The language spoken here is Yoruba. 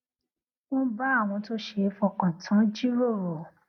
wón bá àwọn tó ṣeé fọkàn tán jíròrò